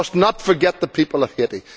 We must not forget the people of Haiti.